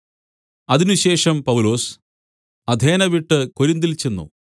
അതിനുശേഷം പൗലൊസ് അഥേന വിട്ട് കൊരിന്തിൽ ചെന്ന്